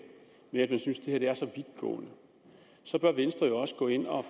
nemlig synes at det er så vidtgående bør venstre jo også gå ind og